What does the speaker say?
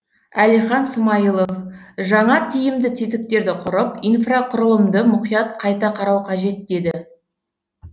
әлихан смайылов жаңа тиімді тетіктерді құрып инфрақұрылымды мұқият қайта қарау қажет деді